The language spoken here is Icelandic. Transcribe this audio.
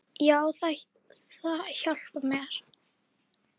Já, það hjálpar mér.